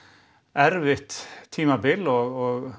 erfitt tímabil og